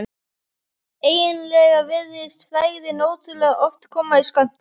Eiginlega virtist frægðin ótrúlega oft koma í skömmtum.